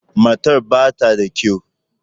Matar ba ta da kyau.